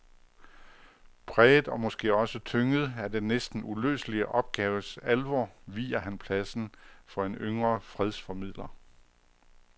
Præget og måske også tynget af den næsten uløselige opgaves alvor viger han pladsen for en yngre fredsformidler.